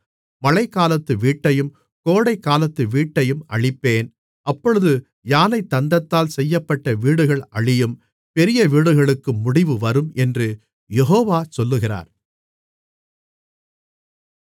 மழைகாலத்து வீட்டையும் கோடைக்காலத்து வீட்டையும் அழிப்பேன் அப்பொழுது யானைத்தந்தத்தால் செய்யப்பட்ட வீடுகள் அழியும் பெரிய வீடுகளுக்கும் முடிவு வரும் என்று யெகோவா சொல்லுகிறார்